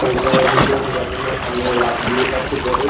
এটা ভিতরে ঢোকার জন্য সামনে একটা গেট আছে বড়ো।